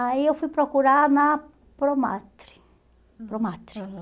Aí eu fui procurar na promatre Promatre. Aham